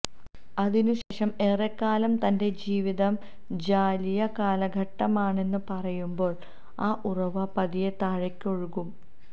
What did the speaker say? അതിനു ശേഷം ഏറെക്കാലം തന്റെ ജീവിതം ജാഹലിയ കാലഘട്ടമാണന്നു പറയുമ്പോള് ആ ഉറവ പതിയെ താഴേക്കൊഴുകും